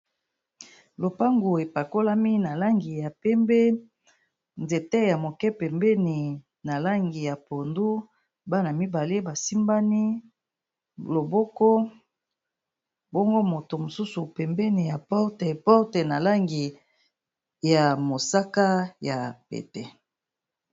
Lopango epakolami na langi ya pembe